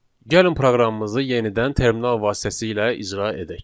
Gəlin proqramımızı yenidən terminal vasitəsilə icra edək.